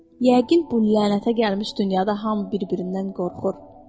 Yəqin bu lənətə gəlmiş dünyada hamı bir-birindən qorxur.